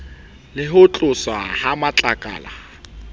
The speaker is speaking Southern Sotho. le ho tloswa ha matlakala